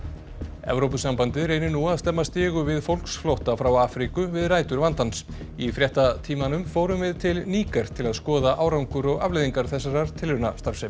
Evrópusambandið reynir nú að stemma stigu við fólksflótta frá Afríku við rætur vandans í fréttatímanum förum við til Níger til að skoða árangur og afleiðingar þessarar tilraunastarfsemi